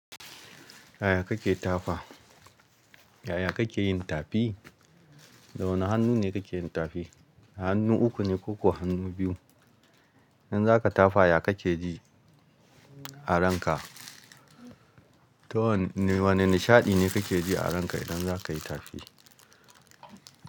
Yaya kake tafa? Yaya kake yin tafi? Da wane hannu ne kake yin tafi? Hannu uku ne ko kuwa hannu biyu? Idan zaka tafa, ya kake ji a ranka? To wane nishaɗi ne kake ji a ranka idan zaka yi tafi?